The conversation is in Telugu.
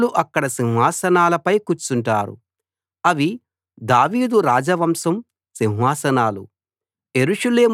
నాయకులు అక్కడ సింహాసనాలపై కూర్చుంటారు అవి దావీదు రాజవంశం సింహాసనాలు